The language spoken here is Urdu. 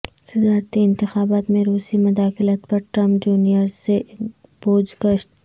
صدارتی انتخابات میں روسی مداخلت پر ٹرمپ جونیئر سے پوچھ گچھ